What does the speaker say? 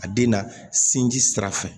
A den na sinji sira fɛ